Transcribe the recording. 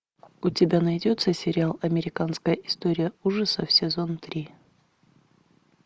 у тебя найдется сериал американская история ужасов сезон три